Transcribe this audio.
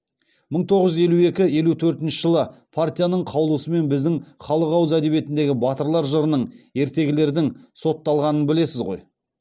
мың тоғыз жүз елу екі елу төртінші жылы партияның қаулысымен біздің халық ауыз әдебиетіндегі батырлар жырының ертегілердің сотталғанын білесіз ғой